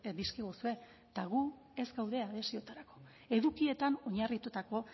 dizkiguzue eta gu ez gaude adhesioetarako edukietan oinarritutako